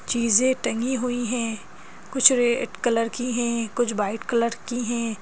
चीजें टंगी हुई हैं कुछ रेड कलर की हैं कुछ वाइट कलर की हैं।